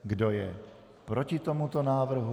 Kdo je proti tomuto návrhu?